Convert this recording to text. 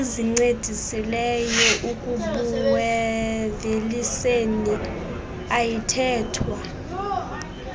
ezincedisileyo ekubuuveliseni ayithethwa